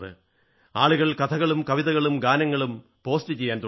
ആളുകൾ കഥകളും കവിതകളും ഗാനങ്ങളും പോസ്റ്റ് ചെയ്യാൻ തുടങ്ങി